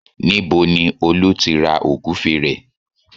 Níbo ni Olú ti ra Ògúfe rẹ̀?